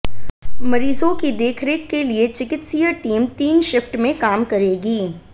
मरीजों की देखरेख के लिए चिकित्सीय टीम तीन शिफ्ट में काम करेगी